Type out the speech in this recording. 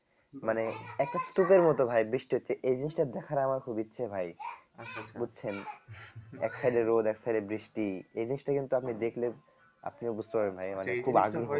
মানে একটা স্তূপের মত ভাই বৃষ্টি হচ্ছে এই জিনিসটা দেখার আমার খুব ইচ্ছে ভাই বুঝছেন এক side এ রোদ এক side এ বৃষ্টি এই জিনিসটা কিন্তু আপনি দেখলে আপনিও বুঝতে পারবেন না এ মানে